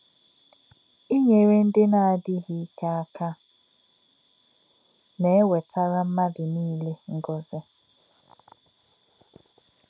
Ínyèrè̄ ndí̄ nā̄-ádí̄ghí̄ íkè̄ ákà̄ nā̄-èwètà̄rá̄ mmádụ̄ nílé̄ ngọ̀zí̄.